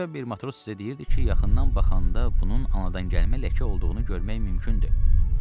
Başqa bir matros isə deyirdi ki, yaxından baxanda bunun anadan gəlmə ləkə olduğunu görmək mümkündür.